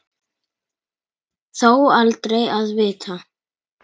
Þó aldrei að vita.